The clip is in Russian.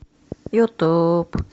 ютуб